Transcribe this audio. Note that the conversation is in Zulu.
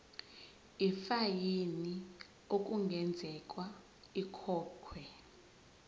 ifayini okungenzeka ikhokhwe